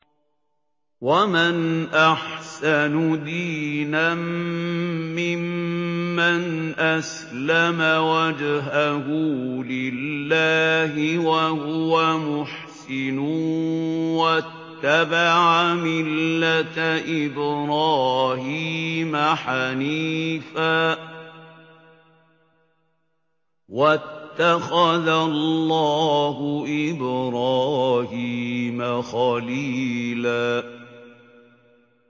وَمَنْ أَحْسَنُ دِينًا مِّمَّنْ أَسْلَمَ وَجْهَهُ لِلَّهِ وَهُوَ مُحْسِنٌ وَاتَّبَعَ مِلَّةَ إِبْرَاهِيمَ حَنِيفًا ۗ وَاتَّخَذَ اللَّهُ إِبْرَاهِيمَ خَلِيلًا